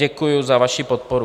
Děkuju za vaši podporu.